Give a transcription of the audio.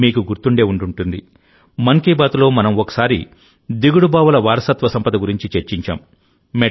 మీకు గుర్తుండే ఉంటుంది మన్ కీ బాత్లో మనం ఒకసారి దిగుడు బావుల వారసత్వ సంపద గురించి చర్చించాం